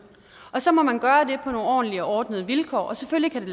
og så må man gøre det ordentlige og ordnede vilkår og selvfølgelig kan det